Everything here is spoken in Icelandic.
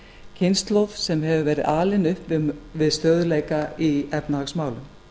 kynslóð sem hefur verið alin upp við stöðugleika í efnahagsmálum